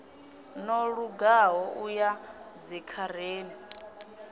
no lugaho u ya dzikhareni